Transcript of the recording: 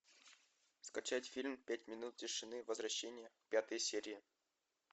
скачать фильм пять минут тишины возвращение пятая серия